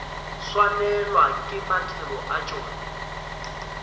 swanelwa ke mathebo a tšona